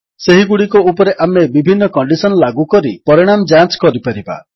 ସେହିଗୁଡ଼ିକ ଉପରେ ଆମେ ବିଭିନ୍ନ କଣ୍ଡିଶନ୍ ଲାଗୁ କରି ପରିଣାମ ଯାଞ୍ଚ କରିପାରିବା